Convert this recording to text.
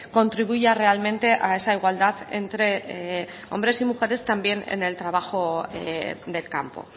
contribuya realmente a esa igualdad entre hombres y mujeres también en el trabajo del campo